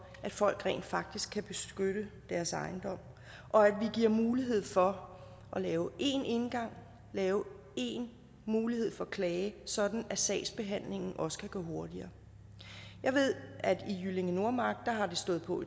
at folk rent faktisk kan beskytte deres ejendom og at vi giver mulighed for at lave én indgang lave én mulighed for klage sådan at sagsbehandlingen også kan gå hurtigere jeg ved at det i jyllinge nordmark har stået på